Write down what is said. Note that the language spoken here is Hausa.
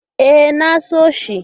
E, na so shi.